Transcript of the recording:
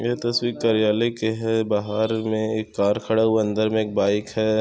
यह तस्वीर कार्यालय के हैं बाहर मे एक कार खड़ा हुआ हैं अंदर मे एक बाइक हैं।